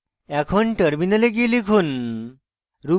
এখন terminal গিয়ে লিখুন